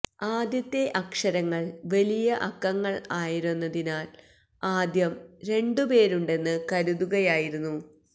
ആദ്യത്തെ അക്ഷരങ്ങൾ വലിയ അക്കങ്ങൾ ആയിരുന്നതിനാൽ ആദ്യം രണ്ടുപേരുണ്ടെന്ന് കരുതുകയായിരുന്നു